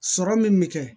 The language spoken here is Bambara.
Sɔrɔ min bɛ kɛ